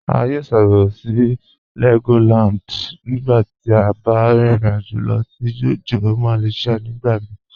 A yọ ṣàbẹ̀wò sí Legoland nígbà tí a bá rìn ìrìn-àjọ̀ lọ sí Johor Malaysia nígbà mí